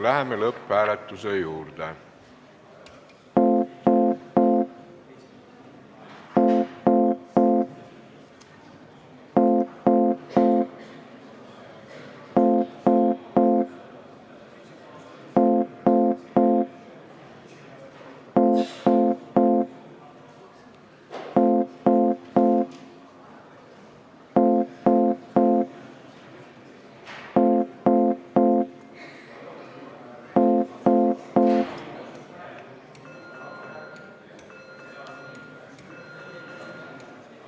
Läheme lõpphääletuse juurde.